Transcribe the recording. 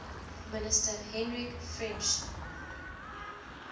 minister hendrik frensch